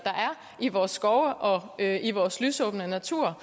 i vores skove og i vores lysåbne natur